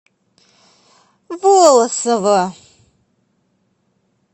волосово